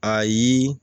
Ayi